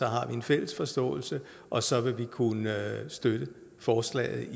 har en fælles forståelse og så vil vi kunne støtte forslaget